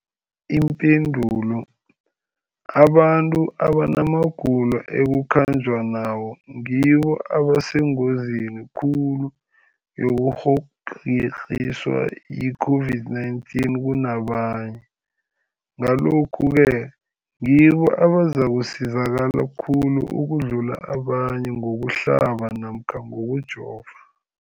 Ipendulo, abantu abanamagulo ekukhanjwa nawo ngibo abasengozini khulu yokukghokghiswa yi-COVID-19 kunabanye, Ngalokhu-ke ngibo abazakusizakala khulu ukudlula abanye ngokuhlaba namkha ngokujova.